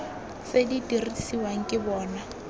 tse di dirisiwang ke bona